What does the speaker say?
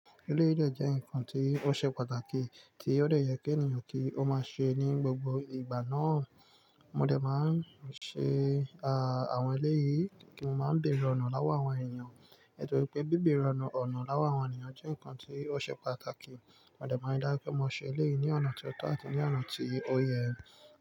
Eléyi dè jẹ́ nǹkan tí ó ṣe pàtàkì tí ó dọe ye ki ènìyàn kí ó máa ṣe ní gbogbo ìgbà náà. Mo dẹ̀ máa ń ṣe àwọn eléyìí kí n má bẹ̀re ọ̀nà lowọ àwọn ènìyàn. Nitori wípé bí bẹ̀re ọ̀nà lowọ àwọn ènìyàn jẹ́ nǹkan tí ó ṣe pàtàkì. Mo dẹ̀ máa dá pé mo ṣe eléyìí ní ọ̀nà tó tọ́ àti ní ọ̀nà tí ó yẹ.